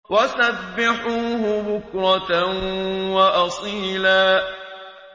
وَسَبِّحُوهُ بُكْرَةً وَأَصِيلًا